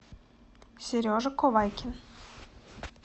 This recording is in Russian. сережа ковайкин